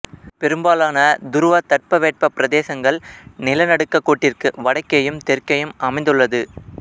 பெரும்பாலன துருவத் தட்பவெப்ப பிரதேசங்கள் நிலநடுக் கோட்டிற்கு வடக்கேயும் தெற்கேயும் அமைந்துள்ளது